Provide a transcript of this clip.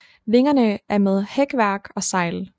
Vingerne er med hækværk og sejl